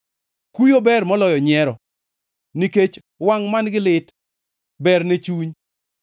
Kuyo ber moloyo nyiero, nikech wangʼ man-gi lit berne chuny.